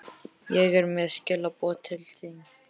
Ég er með skilaboð til þín.